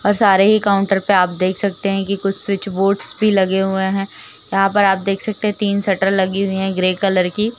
और सारे ही काउंटर पे आप देख सकते हैं कि कुछ स्विच बोर्ड्स भी लगे हुए हैं। यहाँं पर आप देख सकते हैं तीन शटर लगी हुई है ग्रे कलर की।